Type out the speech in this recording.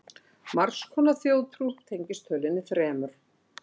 Margs konar þjóðtrú tengist tölunni þremur.